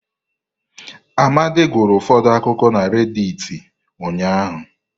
Amadi gụrụ ụfọdụ akụkọ na redịtị ụnyahụ.